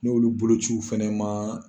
N' olu bolociw fɛnɛ maa.